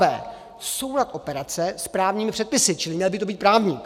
b) soulad operace s právními předpisy - čili měl by to být právník,